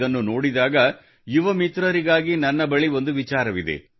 ಇದನ್ನು ನೋಡಿದಾಗ ಯುವ ಮಿತ್ರರಿಗಾಗಿ ನನ್ನ ಹತ್ತಿರ ಒಂದು ವಿಚಾರ ಇದೆ